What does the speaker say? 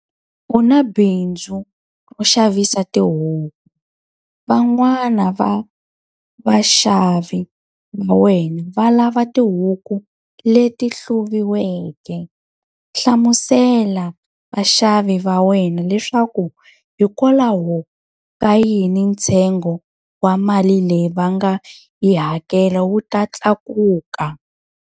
U na bindzu ro xavisa tihuku. Van'wana va vaxavi va wena va lava tihuku leti hluviweke. Hlamusela vaxavi va wena leswaku hikwalaho ka yini ntsengo wa mali leyi va nga yi hakela wu ta tlakuka.